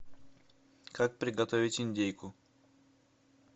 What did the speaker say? как приготовить индейку